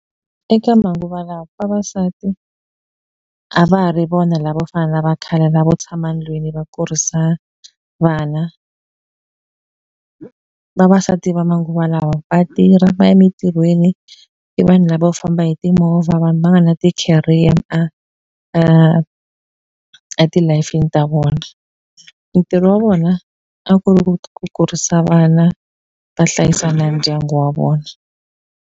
Eka manguva lawa vavasati a va ha ri vona lavo fana na va khale lavo tshama ndlwini va kurisa vana, vavasati va manguva lawa va tirha va ya mitirhweni i vanhu lavo famba hi timovha vanhu va nga na ti-career a a a ti lif-ini ta vona ntirho wa vona a ku ri ku kurisa vana va hlayisa na ndyangu wa vona.